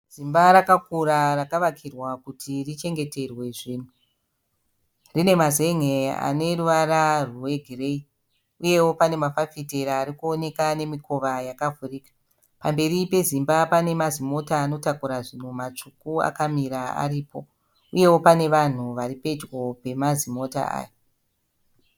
Zimba rakakura rakavakirwa kuti richengeterwe zvinhu. Rine mazenge ane ruvara rwegireyi. Uyewo pane mafafitera ari kuoneka ane mikova yakavhurika. Pamberi pezimba pane mazimota anotakura zvinhu matsvuku akamira aripo uyewo pane vanhu vari pedyo pemazimota aya.